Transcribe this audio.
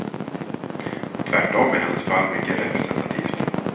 Tvärtom är hennes fall mycket representativt.